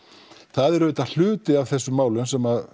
það er auðvitað hluti af þessum málum sem